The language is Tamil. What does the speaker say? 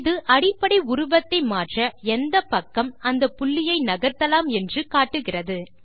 இது அடிப்படை உருவத்தை மாற்ற எந்தப்பக்கம் அந்த புள்ளியை நகர்த்தலாம் என்று காட்டுகிறது